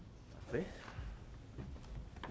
det